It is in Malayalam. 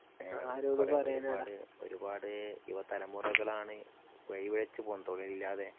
ഏ ഒരുപാടു ഒരുപാടു യുവ തലമുറകളാണ് വഴി പിഴച്ചു പോകുന്നത് തൊഴിലില്ലാതെ.